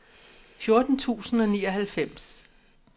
fjorten tusind og nioghalvfems